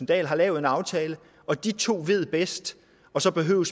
dahl har lavet en aftale og de to ved bedst så behøver